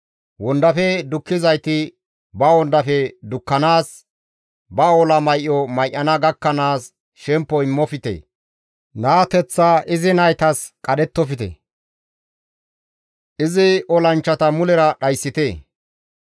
Wondafe dukkizayti ba wondafe dukkanaas, ba ola may7o may7ana gakkanaas shemppo immofte; naateththa izi naytas qadhettofte; izi olanchchata mulera dhayssite.